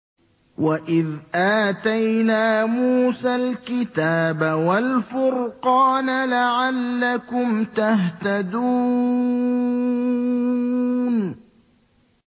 وَإِذْ آتَيْنَا مُوسَى الْكِتَابَ وَالْفُرْقَانَ لَعَلَّكُمْ تَهْتَدُونَ